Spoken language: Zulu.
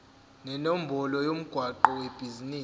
nenombolo yomgwaqo webhizinisi